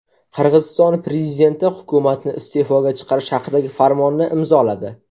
Qirg‘iziston prezidenti hukumatni iste’foga chiqarish haqidagi farmonni imzoladi.